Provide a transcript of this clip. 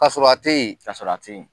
Kasɔrɔ a teyi kasɔrɔ a teyi